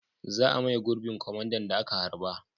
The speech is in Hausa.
Za a maye gurbin kwamandan da aka harba.